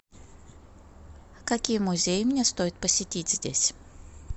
какие музеи мне стоит посетить здесь